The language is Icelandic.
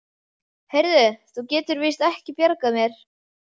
Heyrðu, þú getur víst ekki bjargað mér.